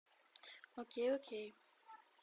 окей окей